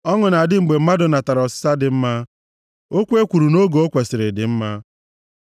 Ọṅụ na-adị mgbe mmadụ natara ọsịsa dị mma, okwu e kwuru nʼoge o kwesiri dị mma.